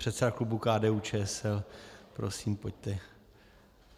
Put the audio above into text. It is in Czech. Předseda klubu KDU-ČSL. Prosím, pojďte.